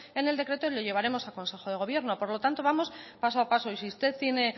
en el decreto y lo llevaremos al consejo de gobierno por lo tanto vamos paso a paso y si usted tiene